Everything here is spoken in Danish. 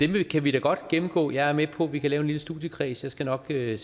kan vi da godt gennemgå jeg er med på at vi kan lave en lille studiekreds jeg skal nok sætte